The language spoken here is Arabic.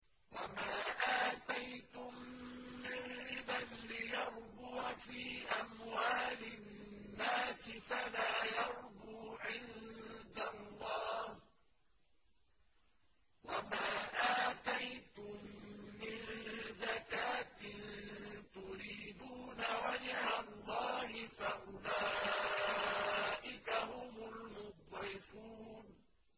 وَمَا آتَيْتُم مِّن رِّبًا لِّيَرْبُوَ فِي أَمْوَالِ النَّاسِ فَلَا يَرْبُو عِندَ اللَّهِ ۖ وَمَا آتَيْتُم مِّن زَكَاةٍ تُرِيدُونَ وَجْهَ اللَّهِ فَأُولَٰئِكَ هُمُ الْمُضْعِفُونَ